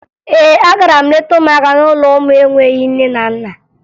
Ee, agara m leta ụmụaka n'ụlọ ụmụ enweghi nne na nna